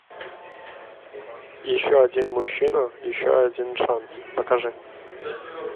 еще один мужчина еще один шанс покажи